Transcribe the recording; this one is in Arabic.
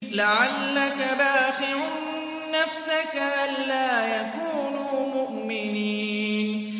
لَعَلَّكَ بَاخِعٌ نَّفْسَكَ أَلَّا يَكُونُوا مُؤْمِنِينَ